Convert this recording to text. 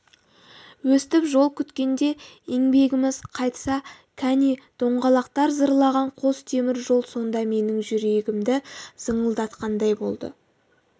өстіп жол күткенде еңбегіміз қайтса кәне доңғалақтар зырлаған қос темір жол сонда менің жүрегімді зыңылдатқандай болды